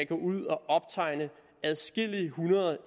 gå ud og optegne adskillige hundrede